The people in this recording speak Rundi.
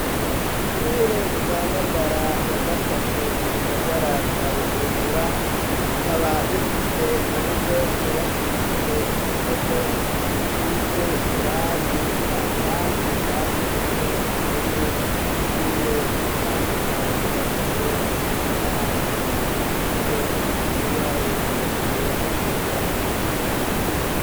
Ishure rya ngagara ya gatatu, mu gisagara ca bujumbura ,rikaba rifise urugo rwubakishijwe ibihome bisize irangi , kandi banditse ko indome zigiye zitandukanye, guhera kuri a kugeza kuri z, n'ibiharuro guhera kubusa, gushitsa kw' icenda.